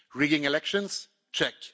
Rigging elections check.